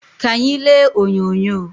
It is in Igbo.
Ka anyị lee onyonyo